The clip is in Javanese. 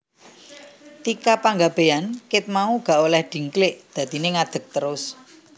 Tika Panggabean ket mau gak oleh dingklik dadine ngadeg terus